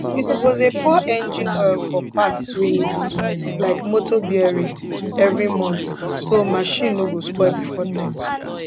u suppose dey pour engine oil for parts wey need am like motor bearing every month so marchin no go spoil before time